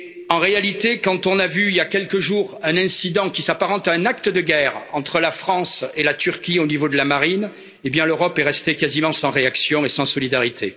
En réalité, quand nous avons assisté, il y a quelques jours, à un incident qui s'apparente à un acte de guerre entre la France et la Turquie, au niveau de la marine, l'Europe est restée quasiment sans réaction et sans solidarité.